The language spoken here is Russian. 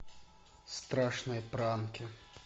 страшные пранки